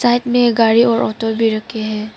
Side में एक गाड़ी और ऑटो भी रखे हैं।